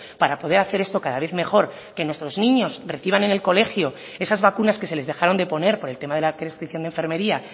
para poder hacer esto cada vez mejor que nuestros niños reciban en el colegio esas vacunas que se les dejaron de poner por el tema de la prescripción de enfermería